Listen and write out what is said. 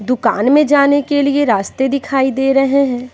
दुकान में जाने के लिए रास्ते दिखाई दे रहे हैं।